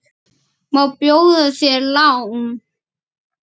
Má bjóða þér lán?